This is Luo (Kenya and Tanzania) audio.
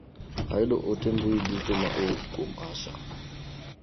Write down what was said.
Ayudo ote mbui duto ma owuok kuom Asha.